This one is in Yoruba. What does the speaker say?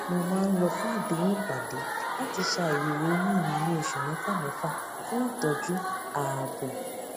mo máa n lọ fún àdéhùn ìpàdé láti ṣe àyẹwò eyín mi ní oṣù mẹfà mẹfà fún ìtọjú ààbò